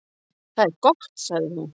"""Það er gott, sagði hún."""